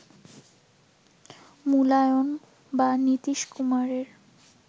মুলায়ম বা নীতীশ কুমারের